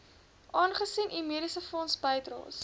aangesien u mediesefondsbydraes